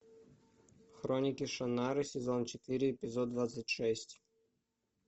хроники шаннары сезон четыре эпизод двадцать шесть